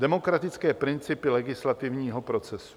Demokratické principy legislativního procesu.